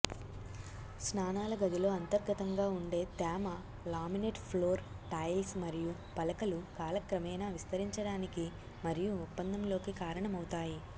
స్నానాల గదిలో అంతర్గతంగా ఉండే తేమ లామినేట్ ఫ్లోర్ టైల్స్ మరియు పలకలు కాలక్రమేణా విస్తరించడానికి మరియు ఒప్పందంలోకి కారణమవుతాయి